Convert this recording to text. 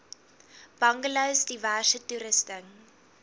bungalows diverse toerusting